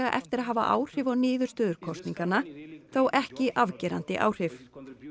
eftir að hafa áhrif á niðurstöður kosninganna þó ekki afgerandi áhrif